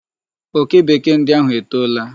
Oke Bekee ndi ahụ etoola.